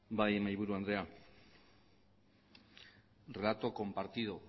bai mahaiburu andrea relato compartido